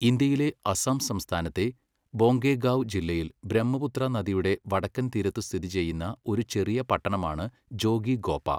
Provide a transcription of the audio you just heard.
ഇന്ത്യയിലെ അസം സംസ്ഥാനത്തെ ബൊംഗൈഗാവ് ജില്ലയിൽ ബ്രഹ്മപുത്ര നദിയുടെ വടക്കൻ തീരത്ത് സ്ഥിതിചെയ്യുന്ന ഒരു ചെറിയ പട്ടണമാണ് ജോഗിഘോപ.